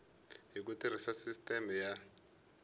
hi ku tirhisa sisiteme ya